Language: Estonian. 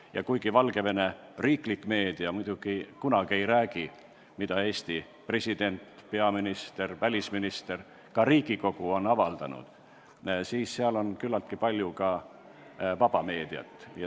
Ja kuigi Valgevene riiklik meedia kunagi ei räägi, mida on avaldanud Eesti president, peaminister, välisminister või Riigikogu, on seal küllaltki palju ka vaba meediat.